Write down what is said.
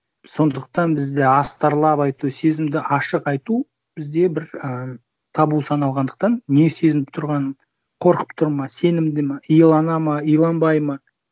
сондықтан бізде астарлап айту сезімді ашық айту бізде бір ыыы табу саналғандықтан не сезініп тұрғанын қорқып тұр ма сенімді ма иланады ма иланбайды ма